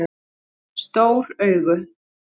Stór augu